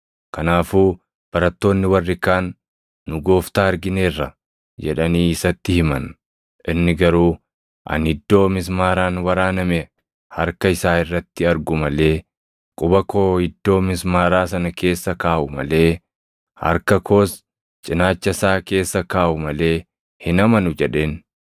Kanaafuu barattoonni warri kaan, “Nu Gooftaa argineerra!” jedhanii isatti himan. Inni garuu, “Ani iddoo mismaaraan waraaname harka isaa irratti argu malee, quba koo iddoo mismaaraa sana keessa kaaʼu malee, harka koos cinaacha isaa keessa kaaʼu malee hin amanu” jedheen.